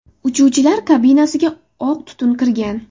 Uchuvchilar kabinasiga oq tutun kirgan.